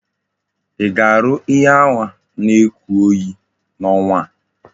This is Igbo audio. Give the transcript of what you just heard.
Í ga-arụ ihe ahu na oku oyi na onwa a?